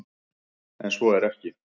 En svo er ekki.